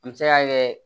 An bɛ se k'a kɛ